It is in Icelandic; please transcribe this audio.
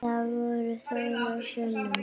Það var Þórður sonur hans.